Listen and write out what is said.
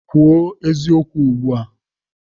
Kwuo eziokwu ugbu a!